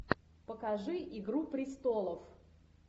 покажи игру престолов